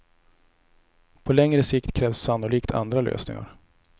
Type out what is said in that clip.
På längre sikt krävs sannolikt andra lösningar.